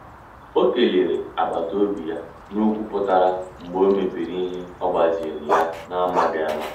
O kelere agbata obi ya n'okwu putara mgbe o mebiri ihe ogbaziri ya na amaghi ama.